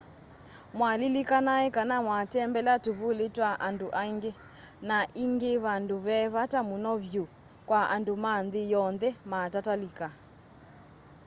mwa lilikanai kana mwitembelea tuvuli twa andu aingi na ingi vandu ve vata muno vyu kwa andu ma nthi yonthe matatalika